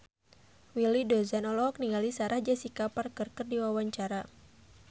Willy Dozan olohok ningali Sarah Jessica Parker keur diwawancara